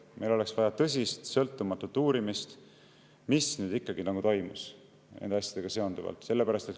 Meil oleks vaja tõsist sõltumatut uurimist, mis ikkagi toimus nende asjadega seonduvalt.